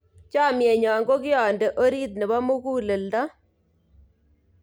Chamnyenyo ko kiande orit nebo muguleldo